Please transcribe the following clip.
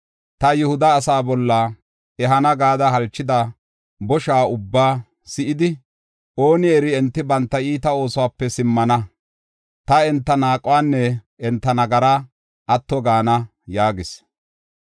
Ta Yihuda asaa bolla ehana gada halchida bosha ubbaa si7idi, ooni eri, enti banta iita oosuwape simmana; ta enta naaquwanne enta nagaraa atto gaana” yaagis.